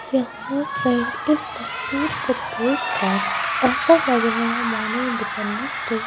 यहां पर इस तस्वीर को देखकर ऐसा लग रहा है मानो इंडिपेंडेंस डे --